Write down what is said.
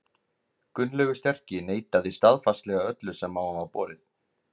Gunnlaugur sterki neitaði staðfastlega öllu sem á hann var borið.